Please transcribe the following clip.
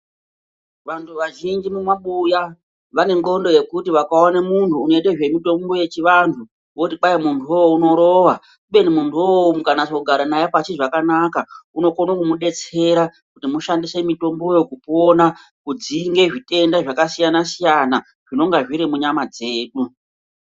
Vantu vazhinji mumabuya vane ndxondo yekuti vakaona muntu unoita zvemitambo yechivantu voting kwai muntuwo unorowa. Kubeni muntu wo mukanasa kugara naye pashi zvakanaka unokona kumubetsera kuti mushandise mutomboyo. Kudzinga zvitenda zvakasiyana siyana zvinonga zviri munyama dzedu.